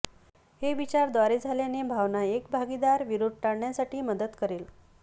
हे विचार द्वारे झाल्याने भावना एक भागीदार विरोध टाळण्यासाठी मदत करेल